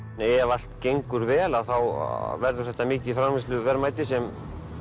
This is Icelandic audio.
ef allt gengur vel að þá verður þetta mikið framleiðsluverðmæti sem